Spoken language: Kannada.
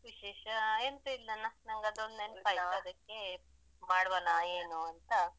ವಿಶೇಷ ಎಂತ ಇಲ್ಲನ ನಂಗದೊಂದ್ ನೆನ್ಪಾಯ್ತು ಮಾಡುವನ ಏನು ಅಂತ.